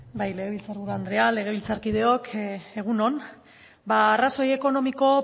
legebiltzar buru andrea legebiltzarkideok egun on arrazoi ekonomiko